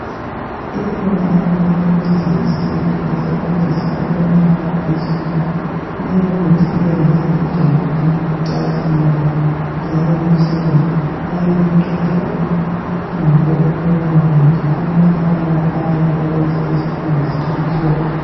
Ikhona eminye imithi yesintu esebenzisa ukulapha izikhumba leyo mithi iyayenza ijwabu licazimule njalo litshelele liyabe liqeda ubuhlungu bokuwoma kumbe amabalabala ayabe eyenze isikhumba sibe mhlophe.